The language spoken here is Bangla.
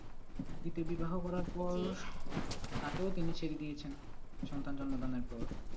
দ্বিতীয় বিবাহ করার পর তাকেও তিনি ছেড়ে দিয়েছেন সন্তান জন্মদানের পর।